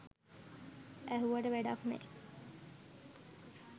ඇහුවට වැඩක් නෑ